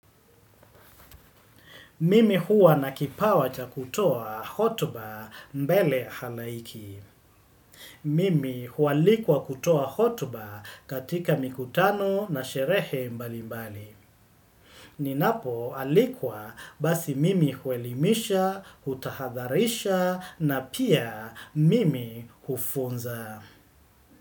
Mimi huwa nakipawa cha kutoa hotuba mbele halaiki. Mimi huwalikwa kutoa hotuba katika mikutano na sherehe mbali mbali. Ninapo alikwa basi mimi huelimisha, hutahadharisha na pia mimi hufunza.